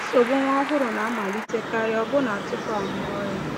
Nsogbu nwa ọhụrụ na-amalitekarị ọbụna tupu a mụọ ya.